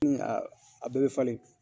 aa, a bɛɛ bɛ falen.